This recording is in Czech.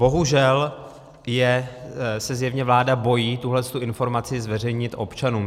Bohužel se zjevně vláda bojí tuto informaci zveřejnit občanům.